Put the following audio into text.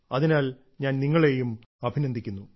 അതിനാൽ ഞാൻ നിങ്ങളെയും അഭിനന്ദിക്കുന്നു